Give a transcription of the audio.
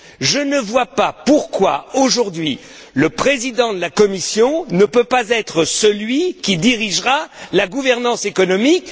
Je ne vois pas pourquoi, aujourd'hui, le Président de la Commission ne peut pas être celui qui dirigera la gouvernance économique.